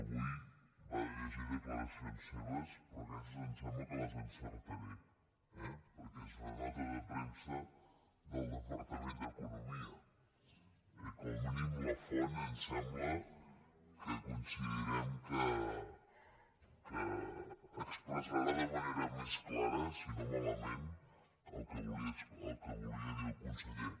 avui va de llegir declaracions seves però aquestes em sembla que les encertaré eh perquè és una nota de premsa del departament d’economia i com a mínim la font em sembla que coincidirem que expressarà de manera més clara si no malament el que volia dir el conseller